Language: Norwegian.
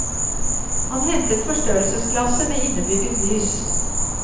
Han hentet forstørrelsesglasset med innebygget lys.